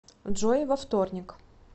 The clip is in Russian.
джой во вторник